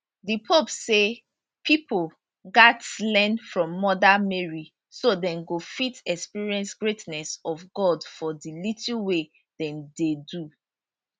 di pope say pipo gatz learn from mother mary so dem go fit experience greatness of god for di little wey dem dey do